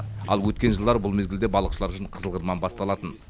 ал өткен жылдары бұл мезгілде балықшылар үшін қызыл қырман басталатын